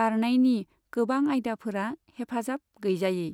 बारनायनि गोबां आयदाफोरा हेफाजाब गैजायै।